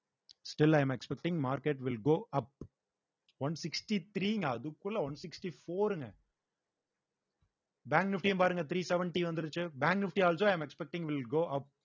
still i am expecting market will go up one sixty three ங்க அதுக்குள்ள one sixty four ருங்க bank nifty யும் பாருங்க three seventy வந்துருச்சு bank nifty also i am expecting will go up